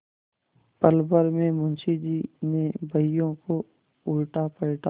पलभर में मुंशी जी ने बहियों को उलटापलटा